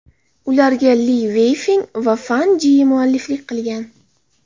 Ularga Li Veyfeng va Fan Jiyi mualliflik qilgan.